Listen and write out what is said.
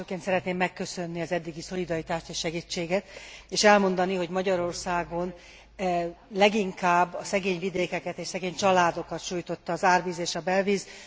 Elsőként szeretném megköszönni az eddigi szolidaritást és segítséget, és elmondani, hogy Magyarországon leginkább a szegény vidékeket és szegény családokat sújtotta az árvíz és a belvíz.